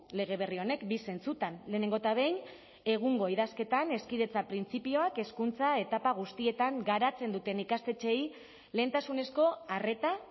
lege berri honek bi zentzutan lehenengo eta behin egungo idazketan hezkidetza printzipioak hezkuntza etapa guztietan garatzen duten ikastetxeei lehentasunezko arreta